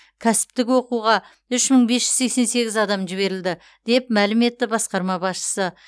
кәсіптік оқуға үш мың бес жүз сексен сегіз адам жіберілді деп мәлім етті басқарма басшысы